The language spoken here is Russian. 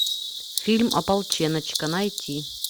фильм ополченочка найти